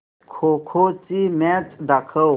खो खो ची मॅच दाखव